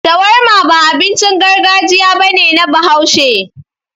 Shawarma ba abincin gargajiya ba ne na Bahaushe.